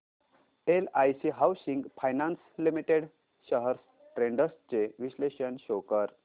LIC housing finance limited shares trends चे विश्लेषण show कर